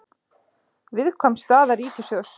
Viðkvæm staða ríkissjóðs